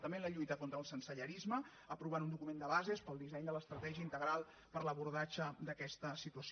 també en la lluita contra el sensellarisme aprovant un document de bases per al disseny de l’estratègia integral per a l’abordatge d’aquesta situació